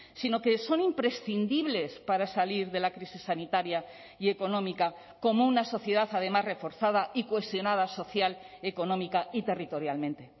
sino que son imprescindibles para salir de la crisis sanitaria y económica como una sociedad además reforzada y cohesionada social económica y territorialmente